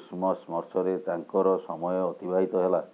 ଉଷ୍ମ ସ୍ପର୍ଶରେ ତାଙ୍କର ସମୟ ଅତିବାହିତ ହେଲା